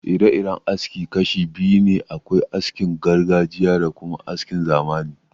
Ire-iren aski kashi biyu ne: akwai askin gargajiya da kuma askin zamani